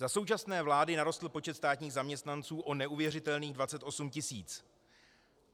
Za současné vlády narostl počet státních zaměstnanců o neuvěřitelných 28 tisíc.